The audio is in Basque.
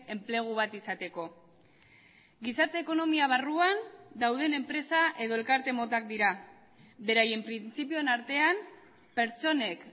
enplegu bat izateko gizarte ekonomia barruan dauden enpresa edo elkarte motak dira beraien printzipioen artean pertsonek